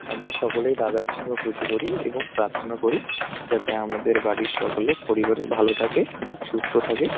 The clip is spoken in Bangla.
আমরা সকলেই রাধাকৃষ্ণর পুজো করি এবং প্রার্থনা করি যাতে আমাদের বাড়ির সকলে পরিবারের ভালো থাকে সুস্থ থাকে।